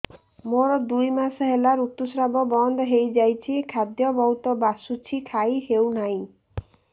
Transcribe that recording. ମୋର ଦୁଇ ମାସ ହେଲା ଋତୁ ସ୍ରାବ ବନ୍ଦ ହେଇଯାଇଛି ଖାଦ୍ୟ ବହୁତ ବାସୁଛି ଖାଇ ହଉ ନାହିଁ